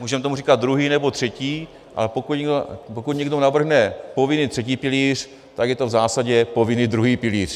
Můžeme tomu říkat druhý nebo třetí, ale pokud někdo navrhne povinný třetí pilíř, tak je to v zásadě povinný druhý pilíř.